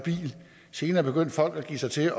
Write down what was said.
bil senere begyndte folk at give sig til